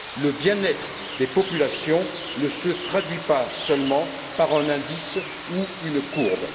Le bien être des populations ne se traduit pas seulement par un indice ou une courbe.